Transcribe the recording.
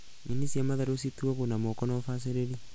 Nyeni cia matharũ cituagwo na moko na ũbacĩrĩri